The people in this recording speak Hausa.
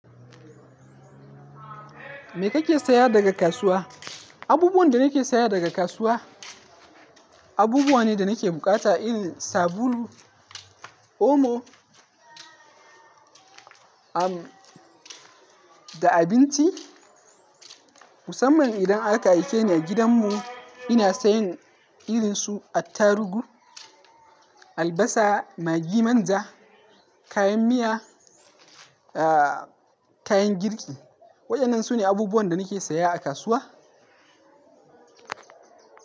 Me kake saya daga kasuwa? Abubuwan da nake saya daga kasuwa, abubuwa ne da nake bukata irin sabulu, omo, an da abinci. Musamman idan aka aike ni gidanmu, ina sayan irin su attarugu, albasa, magi, manja, kayan miya, kayan girki. Waɗannan su ne abubuwan da nake saya a kasuwa.